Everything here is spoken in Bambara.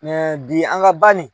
bi an ka banni.